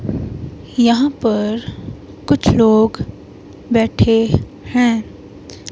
यहां पर कुछ लोग बैठे हैं।